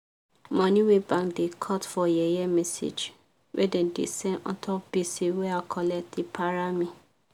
money wey bank da cut for yeye message wey dem da send untop gbese wey i collect da para me